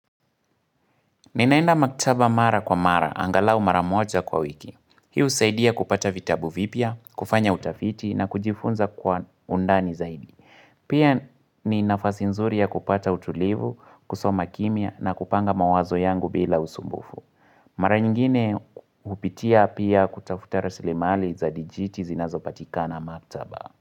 Ninaenda maktaba mara kwa mara, angalau mara moja kwa wiki. Hii usaidia kupata vitabu vipia, kufanya utafiti na kujifunza kwa undani zaidi. Pia ni nafasi nzuri ya kupata utulivu, kusoma kimia na kupanga mawazo yangu bila usumbufu. Mara nyingine upitia pia kutafuta rasilemali za dijiti zinazopatika na maktaba.